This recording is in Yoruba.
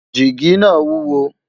jigi nà wuwo